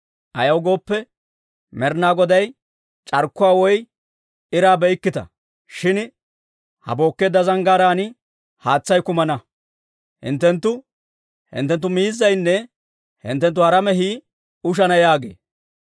Ayaw gooppe, Med'ina Goday, C'arkkuwaa woy iraa be'ikkita; shin ha bookkeedda zanggaaraan haatsay kumana; hinttenttu, hinttenttu miizzaynne hinttenttu hara mehii ushana yaagee.